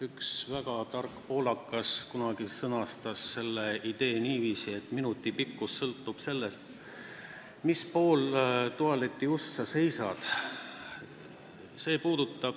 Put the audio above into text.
Üks väga tark poolakas sõnastas kunagi ühe idee niiviisi, et minuti pikkus sõltub sellest, kummal pool tualetiust sa seisad.